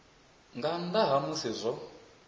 nga nnḓa ha musi zwo